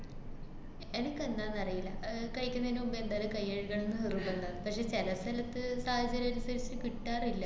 എനക്കെന്താന്നറിയില്ല ആഹ് കയിക്കണയിന് മുമ്പേ എന്തായാലും കൈ കഴുകണന്ന് നിര്‍ബന്ധാ. പക്ഷെ ചെല സ്ഥലത്ത് സാഹചര്യനുസരിച്ച് കിട്ടാറില്ല.